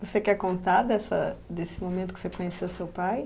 Você quer contar dessa desse momento que você conheceu seu pai?